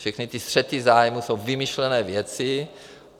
Všechny ty střety zájmů jsou vymyšlené věci.